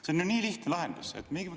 See on ju nii lihtne lahendus!